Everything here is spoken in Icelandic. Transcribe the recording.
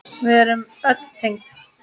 Við erum öll tengd.